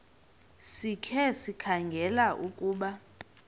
sikhe sikhangele ukuba